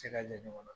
Se ka ɲɛmɔgɔ na